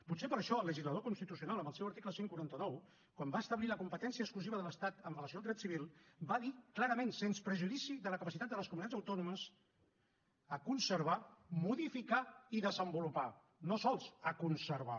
potser per això el legislador constitucional en el seu article cent i quaranta nou quan va establir la competència exclusiva de l’estat amb relació al dret civil va dir clarament sens perjudici de la capacitat de les comunitats autònomes a conservar modificar i desenvolupar no sols a conservar